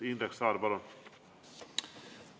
Indrek Saar, palun!